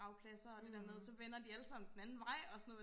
gravpladser og det der med så vender de alle sammen den anden vej og sådan noget